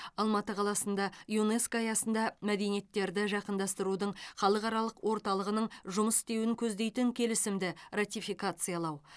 алматы қаласында юнеско аясында мәдениеттерді жақындастырудың халықаралық орталығының жұмыс істеуін көздейтін келісімді ратификациялау